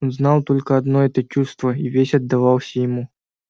он знал только одно это чувство и весь отдавался ему